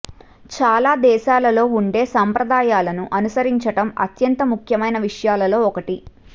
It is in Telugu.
చాలా దేశాలలో ఉండే సంప్రదాయాలకు అనుసరించటం అత్యంత ముఖ్యమైన విషయాలలో ఒకటి